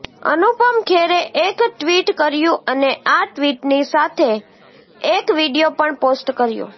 અનુપમ ખેરે એક ટ્વિટ કર્યું અને આ ટ્વિટની સાથે એક વિડીયો પણ પોસ્ટ કર્યો